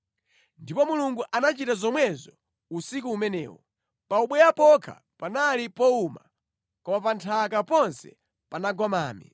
Ndipo Mulungu anachita zomwezo usiku umenewo. Pa ubweya pokha panali powuma, koma pa nthaka ponse panagwa mame.